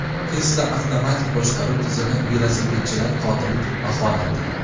Tesla avtomatik boshqaruv tizimi velosipedchilar qotili deb baholandi.